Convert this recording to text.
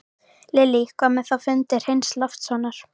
Lillý: Með þá fundi Hreins Loftssonar?